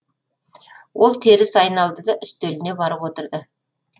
ол теріс айналды да үстеліне барып отырды